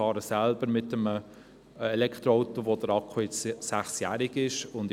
Ich selber fahre ein Elektroauto, dessen Akku sechs Jahre alt ist.